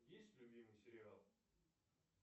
есть любимый сериал